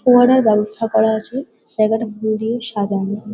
ফোয়ারার ব্যবস্থা করা আছে। জায়গাটা ফুল দিয়েও সাজানো--